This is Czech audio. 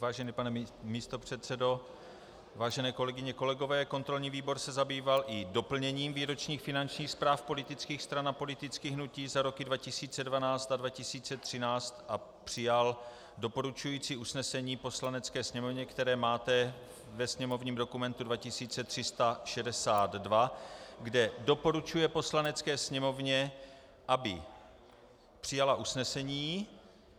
Vážený pane místopředsedo, vážené kolegyně, kolegové, kontrolní výbor se zabýval i doplněním výročních finančních zpráv politických zpráv a politických hnutí za roky 2012 a 2013 a přijal doporučující usnesení Poslanecké sněmovně, které máte ve sněmovním dokumentu 2362, kde doporučuje Poslanecké sněmovně, aby přijala usnesení: